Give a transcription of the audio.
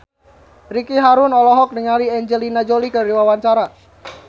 Ricky Harun olohok ningali Angelina Jolie keur diwawancara